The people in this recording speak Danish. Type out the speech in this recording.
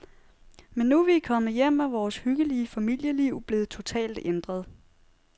Men nu, vi er kommet hjem, er vores hyggelige familieliv blevet totalt ændret.